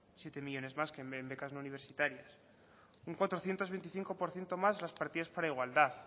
siete millónes más en becas no universitarias un cuatrocientos veinticinco por ciento más las partidas para igualdad